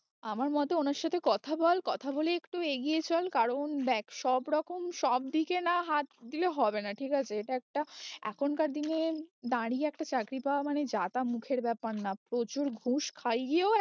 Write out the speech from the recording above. আমার মতে ওনার সাথে কথা বল কথা বলে একটু এগিয়ে চল কারণ দেখ সব রকম সব দিকে না হাত দিলে হবে না ঠিক আছে এটা একটা এখনকার দিনে দাঁড়িয়ে একটা চাকরি পাওয়া মানে যা তা মুখের ব্যাপার না প্রচুর ঘুষ খাইয়েও